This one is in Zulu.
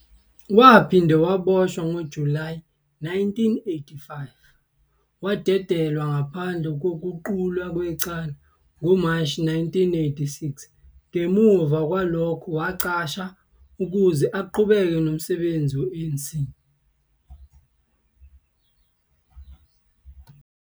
Waphinde waboshwa ngoJulayi 1985 wadedelwa ngaphandle kokuqulwa kwecala ngoMashi 1986, ngemuva kwalokho wacasha ukuze aqhubeke nomsebenzi we-ANC.